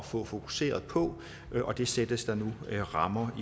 få fokuseret på og det sættes der nu rammer